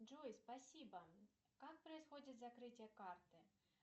джой спасибо как происходит закрытие карты